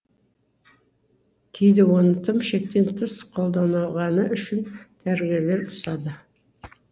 кейде оны тым шектен тыс қолданғаны үшін дәрігерлер ұрсады